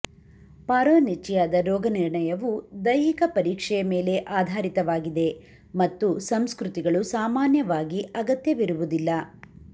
ಪಾರ್ರೋನಿಚಿಯಾದ ರೋಗನಿರ್ಣಯವು ದೈಹಿಕ ಪರೀಕ್ಷೆಯ ಮೇಲೆ ಆಧಾರಿತವಾಗಿದೆ ಮತ್ತು ಸಂಸ್ಕೃತಿಗಳು ಸಾಮಾನ್ಯವಾಗಿ ಅಗತ್ಯವಿರುವುದಿಲ್ಲ